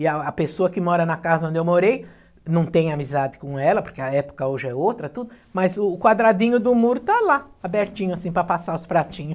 E a a pessoa que mora na casa onde eu morei, não tem amizade com ela, porque a época hoje é outra, tudo, mas o quadradinho do muro está lá, abertinho assim, para passar os pratinho.